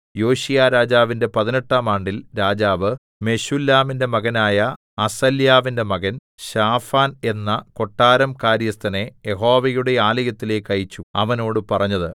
യോശീയാരാജാവിന്റെ പതിനെട്ടാം ആണ്ടിൽ രാജാവ് മെശുല്ലാമിന്റെ മകനായ അസല്യാവിന്റെ മകൻ ശാഫാൻ എന്ന കൊട്ടാരം കാര്യസ്ഥനെ യഹോവയുടെ ആലയത്തിലേക്ക് അയച്ചു അവനോട് പറഞ്ഞത്